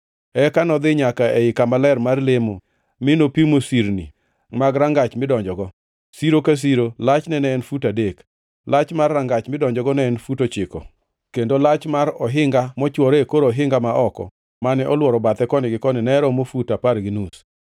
Eka nodhi nyaka ei kama ler mar lemo mi nopimo sirni mag rangach midonjogo, siro ka siro lachne ne en fut adek. Lach mar rangach midonjogo ne en fut ochiko, kendo lach mar ohinga mochwore e kor ohinga ma oko, mane olworo bathe koni gi koni ne romo fut apar gi nus.